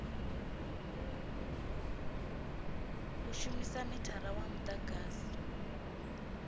u shumisa mithara wa mudagasi